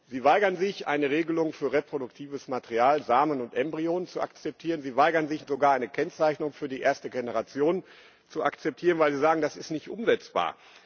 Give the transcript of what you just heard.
Sie weigern sich, eine Regelung für re-produktives Material, Samen und Embryonen zu akzeptieren. Sie weigern sich sogar, eine Kennzeichnung für die erste Generation zu akzeptieren, weil Sie sagen, das ist nicht umsetzbar.